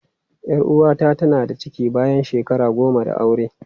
Yar uwata tana da ciki bayan shekara goma da aure.